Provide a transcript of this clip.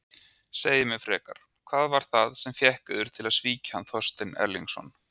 Segið mér frekar: Hvað var það sem fékk yður til að svíkja hann Þorstein Erlingsson?